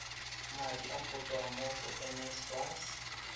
madi go tswa go nsfas